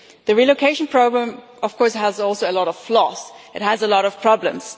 The relocation programme of course has also a lot of floss and a lot of problems.